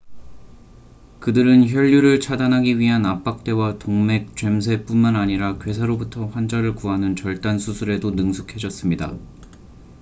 그들은 혈류를 차단하기 위한 압박대와 동맥 죔쇠뿐만 아니라 괴사로부터 환자를 구하는 절단 수술에도 능숙해졌습니다